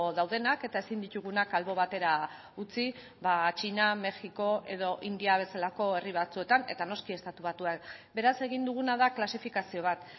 daudenak eta ezin ditugunak albo batera utzi txina mexiko edo india bezalako herri batzuetan eta noski estatu batuak beraz egin duguna da klasifikazio bat